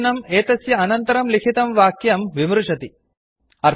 चिह्नम् एतस्य अनन्तरं लिखितं वाक्यं विमृशति कमेण्ट् करोति